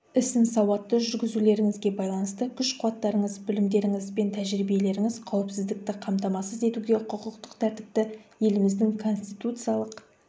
ісін сауатты жүргізулеріңізге байланысты күш-қуаттарыңыз білімдеріңіз бен тәжірибелеріңіз қауіпсіздікті қамтамасыз етуге құқықтық тәртіпті еліміздің конституциялық